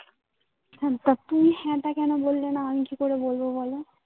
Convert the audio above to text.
শম্পা তুই হ্যাঁ টা কেন বললে না? আমি কি করে বলবো বলো?